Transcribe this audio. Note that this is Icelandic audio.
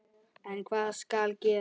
En hvað skal gera?